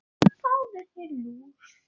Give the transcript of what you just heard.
Fáðu þér lúr.